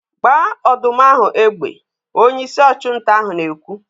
"Gbaa ọdụm ahụ egbe!' Onyeisi ọchụnta ahụ na-ekwu.